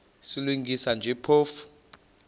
silungisa nje phofu